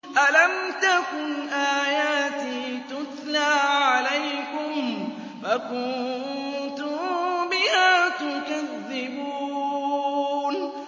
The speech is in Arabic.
أَلَمْ تَكُنْ آيَاتِي تُتْلَىٰ عَلَيْكُمْ فَكُنتُم بِهَا تُكَذِّبُونَ